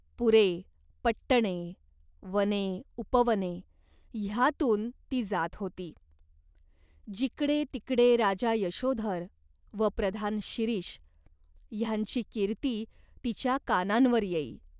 पुरे, पट्टणे, वने, उपवने ह्यांतून ती जात होती. जिकडे तिकडे राजा यशोधर व प्रधान शिरीष ह्यांची कीर्ती तिच्या कानांवर येई.